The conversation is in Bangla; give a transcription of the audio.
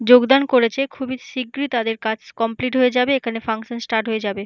যোগদান করেছে খুবই শিগগিরই তাদের কাজ কমপ্লিট হয়ে যাবে এখানে ফাংশন স্টার্ট হয়ে যাবে।